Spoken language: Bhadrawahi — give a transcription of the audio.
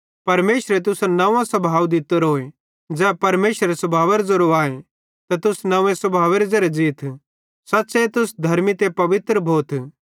परमेशरे तुसन नव्वों स्वभाव दित्तोरोए ज़ै तैसेरे स्वभावेरे ज़ेरो आए त तुस नव्वें स्वभावेरे ज़ेरे ज़ीथ सच़्च़े तुस धर्मी ते पवित्र भोथ